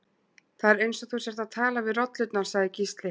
Það er eins og þú sért að tala við rollurnar, sagði Gísli.